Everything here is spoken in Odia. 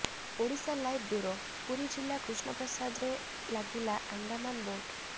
ଓଡ଼ିଶାଲାଇଭ ବ୍ୟୁରୋ ପୁରୀ ଜିଲ୍ଲା କୃଷ୍ଣପ୍ରସାଦରେ ଲାଗିଲା ଆଣ୍ଡାମାନ ବୋଟ୍